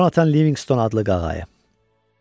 Conatan Livingston adlı qağayı.